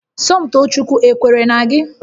Somtoochukwu ekwere na gị?